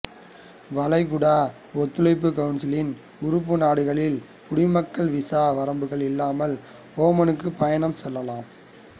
வளைகுடா ஒத்துழைப்பு கவுன்சிலின் உறுப்பு நாடுகளின் குடிமக்கள் விசா வரம்புகள் இல்லாமல் ஓமானுக்கு பயணம் செய்யலாம்